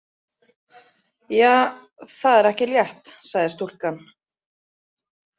Ja, það er ekki létt, sagði stúlkan.